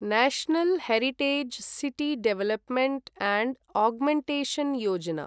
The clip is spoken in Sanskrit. national heritage city development and augmentation Yojana